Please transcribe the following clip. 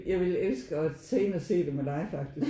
Jeg ville elske og tag ind og se det med dig faktisk